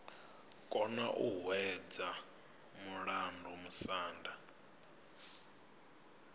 kona u hwedza mulandu musanda